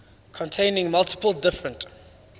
containing multiple different